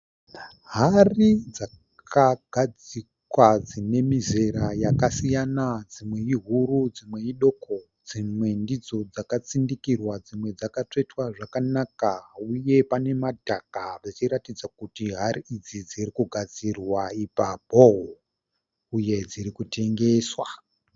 Hari dzakagadzikwa dzine mizera yakasiyana. Dzimwe ihuru, dzimwe iduku, dzimwe ndidzo dzakatsindikirwa, dzimwe dzakatsvetwa zvakanaka. Uye pane madhaka zvichiratidza kuti hari idzi dziri kugadzirwa ipapo uye dziri kutengeswa.